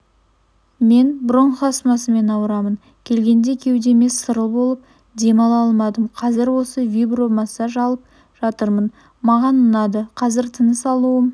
мен бронх-астмамен ауырамын келгенде кеудемде сырыл болып дем ала алмадым қазір осы вибро массаж алып жатырмын маған ұнады қазір тыныс алуым